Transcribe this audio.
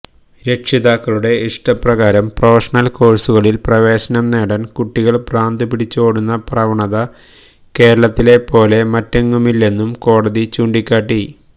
രക്ഷിതാക്കളുടെ ഇഷ്ടപ്രകാരം പ്രൊഫഷണല് കോഴ്സുകളില് പ്രവേശനം നേടാന് കുട്ടികള് ഭ്രാന്തുപിടിച്ചോടുന്ന പ്രവണത കേരളത്തിലെപ്പോലെ മറ്റെങ്ങുമില്ലെന്നും കോടതി ചൂണ്ടിക്കാട്ടി